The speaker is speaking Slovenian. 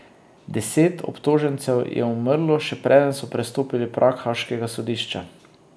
Deset obtožencev je umrlo še preden so prestopili prag haaškega sodišča.